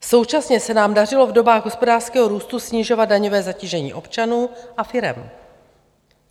Současně se nám dařilo v dobách hospodářského růstu snižovat daňové zatížení občanů a firem.